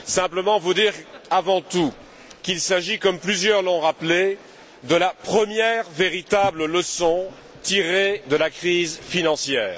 Je voudrais vous dire avant tout qu'il s'agit, comme plusieurs l'ont rappelé, de la première véritable leçon tirée de la crise financière.